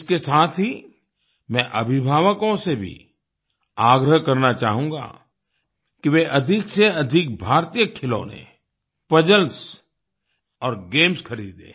इसके साथ ही मैं अभिभावकों से भी आग्रह करना चाहूँगा कि वे अधिक से अधिक भारतीय खिलौने पजल्स और गेम्स खरीदें